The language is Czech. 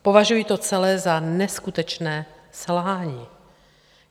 Považuji to celé za neskutečné selhání.